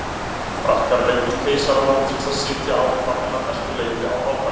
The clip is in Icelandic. Frakkar leyfðu keisara landsins að sitja áfram en að mestu leyti án valda.